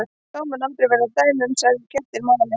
Þá munu vera dæmi um að særðir kettir mali.